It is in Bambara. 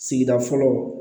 Sigida fɔlɔ